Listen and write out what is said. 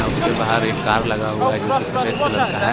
उसके बाहर एक कार लगा हुआ है जो की सफेद कलर का है।